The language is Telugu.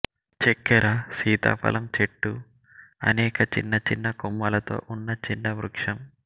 చక్కెర సీతాఫలం చెట్టు అనేక చిన్న చిన్న కొమ్మలతో ఉన్న చిన్న వృక్షం